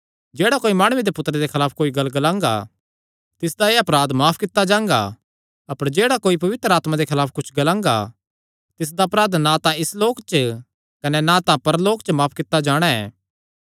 जेह्ड़ा कोई माणुये दे पुत्तरे दे खलाफ कोई गल्ल ग्लांगा तिसदा एह़ अपराध माफ कित्ता जांगा अपर जेह्ड़ा कोई पवित्र आत्मा दे खलाफ कुच्छ ग्लांगा तिसदा अपराध ना तां इस लोक च कने ना परलोक च माफ कित्ता जाणा ऐ